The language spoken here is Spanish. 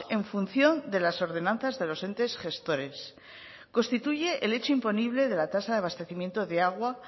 en función de las ordenanzas de los entes gestores constituye el hecho imponible de la tasa de abastecimiento de agua